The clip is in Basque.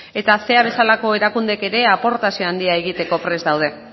eta bezalako erakundeek ere aportazio handia egiteko prest daude